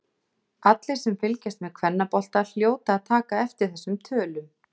Allir sem fylgjast með kvennabolta hljóta að taka eftir þessum tölum.